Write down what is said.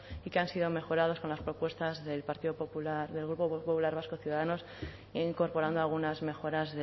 y que han sido mejoradas con las propuestas del grupo popular vasco ciudadanos incorporando algunas mejoras